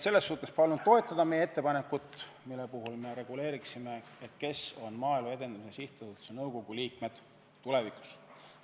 Ma väga palun toetada meie ettepanekut reguleerida, kes on Maaelu Edendamise Sihtasutuse nõukogu liikmed tulevikus.